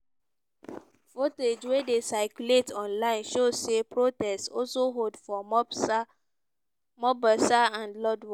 footage wey dey circulate online show say protest also hold for mombsa mombasa and lodwar.